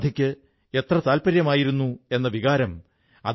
അദ്ദേഹം വേറിട്ട പ്രേരണപ്രദമായ ഒരു കാര്യം ചെയ്തു